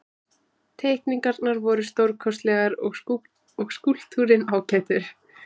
Teikningarnar voru stórkostlegar og skúlptúrinn ágætur.